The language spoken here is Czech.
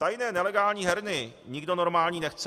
Tajné nelegální herny nikdo normální nechce.